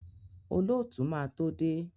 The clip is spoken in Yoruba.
Olóòtú máa tó dé.